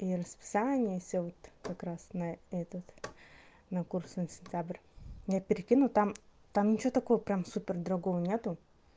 и расписание и всё вот как раз на этот на курсы на сентябрь я перекину там там ничего такого прямо супер другого нет